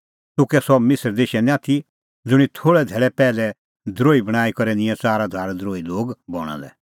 तूह कै सह मिसर देशो निं आथी ज़ुंणी थोल़ै धैल़ै पैहलै द्रोही बणांईं करै निंयैं च़ार हज़ार द्रोही लोग बणां लै